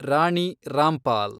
Rani Rampal